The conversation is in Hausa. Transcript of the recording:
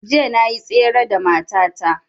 Jiya na yi tsere da mata ta